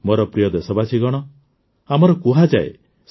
ମୋର ପ୍ରିୟ ଦେଶବାସୀଗଣ ଆମର କୁହାଯାଏ ଯେ